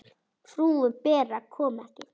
Frúin Bera kom ekki.